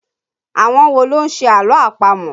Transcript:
Àwọn wo ló ń ṣe àlọ́ àpamọ̀?